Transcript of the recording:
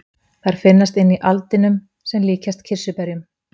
þær finnast inni í aldinum sem líkjast kirsuberjum